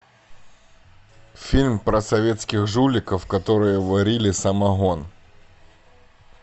фильм про советских жуликов которые варили самогон